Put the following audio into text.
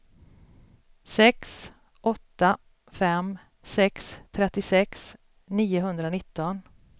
sex åtta fem sex trettiosex niohundranitton